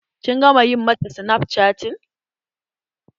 Kin gama ƴi mata snapchatting?